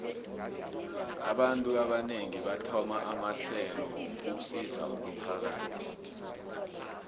abantu abanengi bathoma amahlelo wokusizo umphakathi